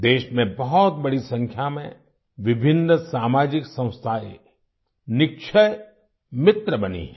देश में बहुत बड़ी संख्या में विभिन्न सामाजिक संस्थाएं निक्षय मित्र बनी हैं